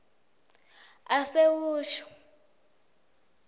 asewusho